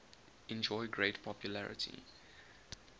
enjoy great popularity